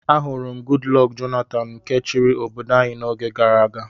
Ahụrụ m Goodluck Jonathan nke chiri obodo anyi na-oge gàrà aga.